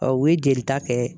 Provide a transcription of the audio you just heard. u ye jelita kɛ.